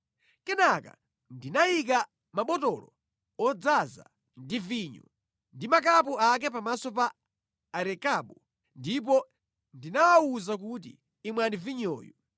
Kenaka ndinayika mabotolo odzaza ndi vinyo ndi zikho zake pamaso pa Arekabu ndipo ndinawawuza kuti, “Imwani vinyoyu.”